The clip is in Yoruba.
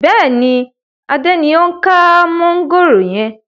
Bẹ́ẹ̀ni, Adé ni o ń ka mọ̀ngòrò yẹn.